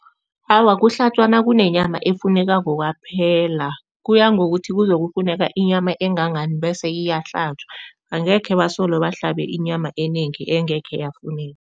Awa, kuhlatjwa nakunenyama efunekako kwaphela, kuya ngokuthi kuzokufuneka inyama engangani bese iyahlatjwa. Angekhe basole bahlabe inyama enengi engekhe yafuneka.